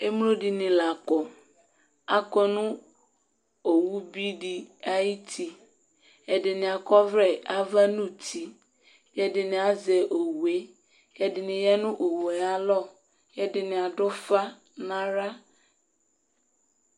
Emlo dɩni la kɔ Akɔ nʊ owʊ bɩdɩ aƴʊtɩ Ɛdɩnɩ akɔvlɛ ava nʊtɩ, ɛdɩnɩ azɛ owʊe kɛdɩni ƴa nʊ owʊe ayalɔ Kɛdɩnɩ adʊ ʊfa nawla